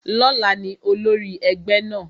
Lóla ni olórí egbe náà